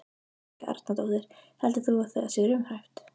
Helga Arnardóttir: Heldur þú að það sé raunhæft?